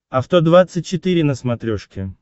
авто двадцать четыре на смотрешке